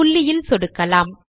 புள்ளியில் சொடுக்கலாம்